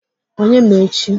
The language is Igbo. Onye ma echi?